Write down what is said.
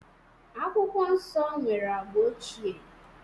Akwụkwọ Nsọ nwere agba ochie.